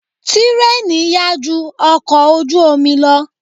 Tírèènì yá ju ọkọ̀ ojú omi lọ.